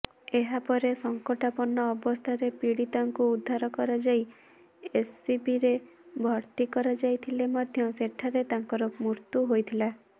ଏହାପରେ ସଙ୍କଟାପନ୍ନ ଅବସ୍ଥାରେ ପୀଡିତାକୁ ଉଦ୍ଧାର କରାଯାଇ ଏସସିବିରେ ଭର୍ତ୍ତି କରାଯାଇଥିଲେ ମଧ୍ୟ ସେଠାରେ ତାଙ୍କର ମୃତ୍ୟୁ ହୋଇଥିଲା